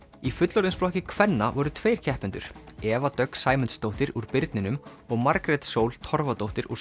í fullorðinsflokki kvenna voru tveir keppendur Eva Dögg Sæmundsdóttir úr birninum og Margrét Sól Torfadóttir úr